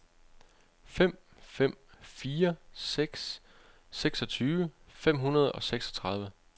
fem fem fire seks seksogtyve fem hundrede og seksogtredive